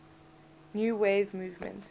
new wave movement